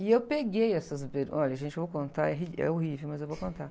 E eu peguei essas bermudas, olha, gente, eu vou contar, é ri, é horrível, mas eu vou contar.